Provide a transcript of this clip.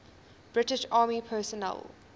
british army personnel